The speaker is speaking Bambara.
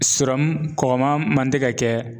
Sirɔmu kɔkɔma man tɛ ka kɛ